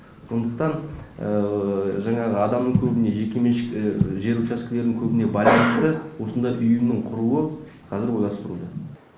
сондықтан жаңағы адамның көбіне жеке меншік жер учаскелерінің көбіне байланысты осындай ұйымның құрылуы қазір ойластырылуда